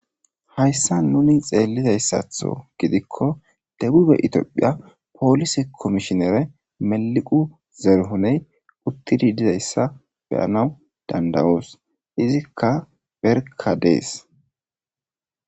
Hayssa nuni xeellizayssatho gidikko debube itiophiya poolise komishinere meliqu zeruhoney uttidi dizayssa beyanaw dandawoos izikka berka dees